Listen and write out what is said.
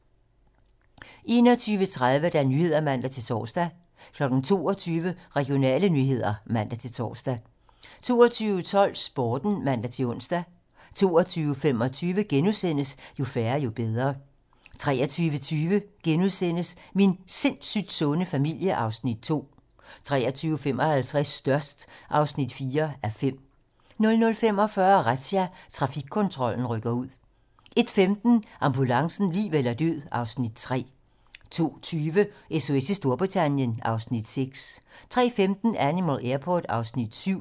21:30: 21:30 Nyhederne (man-tor) 22:00: Regionale nyheder (man-tor) 22:12: Sporten (man-ons) 22:25: Jo færre, jo bedre * 23:20: Min sindssygt sunde familie (Afs. 2)* 23:55: Størst (4:5) 00:45: Razzia - Trafikkontrollen rykker ud 01:15: Ambulancen - liv eller død (Afs. 3) 02:20: SOS i Storbritannien (Afs. 6) 03:15: Animal Airport (Afs. 7)